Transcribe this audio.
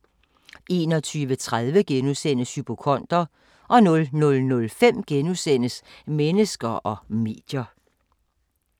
21:30: Hypokonder * 00:05: Mennesker og medier *